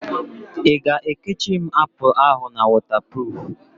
I ga-ekechiri m apụl ahụ na wọtapruf?